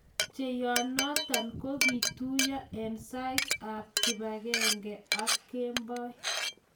Cheyonotin kokituyo eng saet ab kipangenge ak kemboi